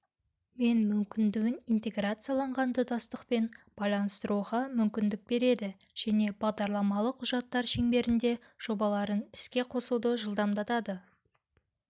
мен мүмкіндігін интеграцияланған тұтастықпен байланыстыруға мүмкіндік береді және бағдарламалық құжаттар шеңберінде жобаларын іске қосуды жылдамдатады